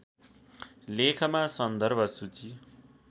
लेखमा सन्दर्भ सूची